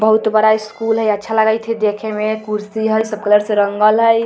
बहुत बड़ा स्कूल हई अच्छा लगयत हई देखे में कुर्सी है सब कलर से रंगी हुई ।